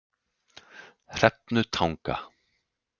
Hrefnutanga